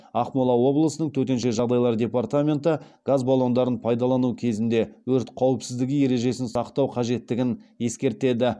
ақмола облысының төтенше жағдайлар департаменті газ баллондарын пайдалану кезінде өрт қауіпсіздігі ережесін сақтау қажеттігін ескертеді